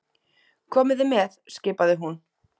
Komiði með! skipaði hún.